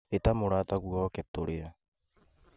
Ita mũratagũo oke tũrĩe